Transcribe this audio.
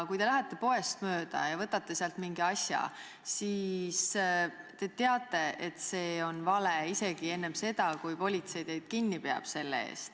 Kui te lähete poest mööda ja võtate sealt mingi asja, siis te teate, et see on vale, isegi enne seda, kui politsei teid selle eest kinni peab.